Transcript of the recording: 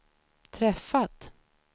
träffat